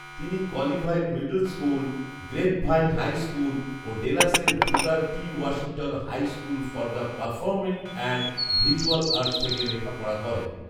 তিনি Colleyville middle school, Grapevine high school ও ডেলাসের Booker T Washington high school for the performing and visual arts থেকে লেখাপড়া করেন